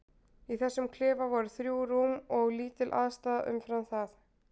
Í þessum klefa voru þrjú rúm og lítil aðstaða umfram það.